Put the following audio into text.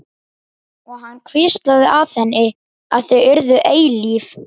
Og hann hvíslaði að henni að þau yrðu eilíf.